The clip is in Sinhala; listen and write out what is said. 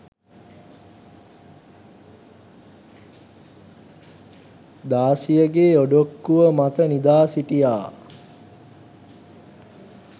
දාසියගේ ඔඩොක්කුව මත නිදාසිටියා